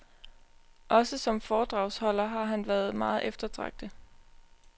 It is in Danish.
Også som foredragsholder har han være meget eftertragtet.